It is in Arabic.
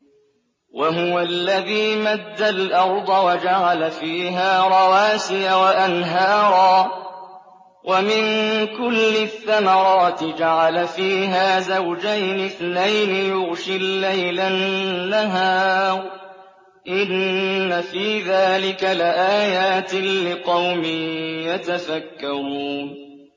وَهُوَ الَّذِي مَدَّ الْأَرْضَ وَجَعَلَ فِيهَا رَوَاسِيَ وَأَنْهَارًا ۖ وَمِن كُلِّ الثَّمَرَاتِ جَعَلَ فِيهَا زَوْجَيْنِ اثْنَيْنِ ۖ يُغْشِي اللَّيْلَ النَّهَارَ ۚ إِنَّ فِي ذَٰلِكَ لَآيَاتٍ لِّقَوْمٍ يَتَفَكَّرُونَ